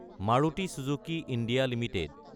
Maruti Suzuki India Ltd